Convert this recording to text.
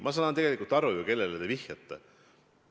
Ma saan tegelikult ju aru, kellele te vihjate.